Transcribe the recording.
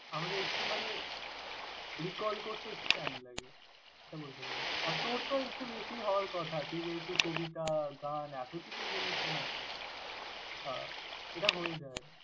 আমাদের একটু মানে recall করতে একটু time লাগে এটা বলতে পারিস। আর তোর তো একটু বেশি হওয়ার কথা। তুই যেহেতু কবিতা, গান এতকিছু জিনিস নিয়ে আছিস আহ এটা হয়ে যায়।